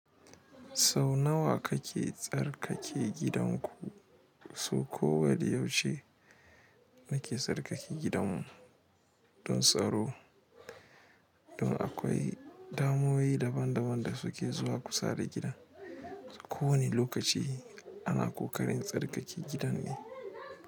Sau nawa kake tsarkake gidanku? So kowane yaushe nake tsarkake gidanmu don tsaro, don akwai damuwoyi daban daban da suke zuwa kusa da gidan. Ko wane lokaci ana ƙoƙarin tsarkake gidan ne.